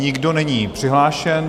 Nikdo není přihlášen.